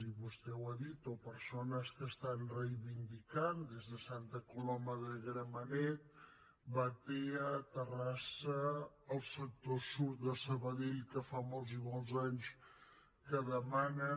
i vostè ho ha dit o persones que reivindiquin des de santa coloma de gramenet batea terrassa el sector sud de sabadell que fa molts i molts anys que demanen